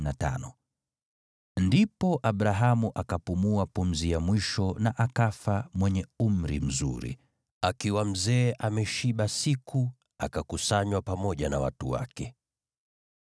Ndipo Abrahamu akapumua pumzi ya mwisho na akafa akiwa mwenye umri mzuri, mzee aliyeshiba siku, naye akakusanywa pamoja na watu wake.